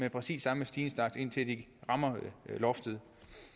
i præcis samme stigningstakt indtil de rammer loftet